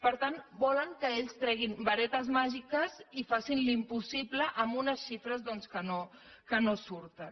per tant volen que ells treguin varetes màgiques i facin l’impossible amb unes xifres doncs que no surten